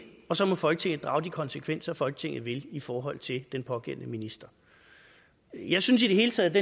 og så må folketinget drage de konsekvenser folketinget vil i forhold til den pågældende minister jeg synes i det hele taget